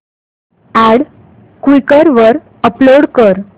add Quikr वर upload कर